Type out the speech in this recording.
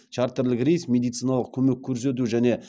чартерлік рейс медициналық көмек көрсету және